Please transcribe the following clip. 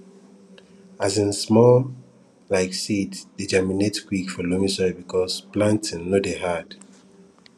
um small um seeds dey germinate quick for loamy soil because planting no dey hard